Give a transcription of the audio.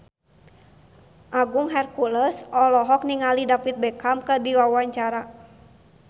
Agung Hercules olohok ningali David Beckham keur diwawancara